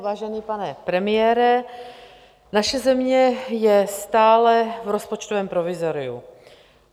Vážený pane premiére, naše země je stále v rozpočtovém provizoriu.